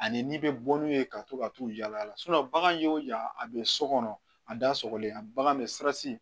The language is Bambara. Ani n'i bɛ bɔ n'u ye ka to ka t'u yaala yaala bagan y'o yan a bɛ so kɔnɔ a da sɔgɔlen bagan bɛ siran si